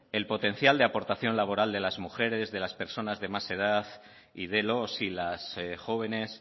el potencial de aportación laboral de las mujeres de las personas de más edad y de los y las jóvenes